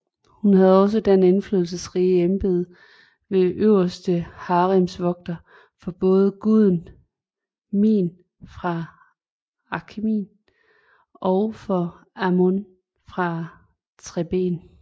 Hun havde også det indflydelsesrige embede som Øverste haremsvogter for både guden Min fra Akhmin og for Amon fra Theben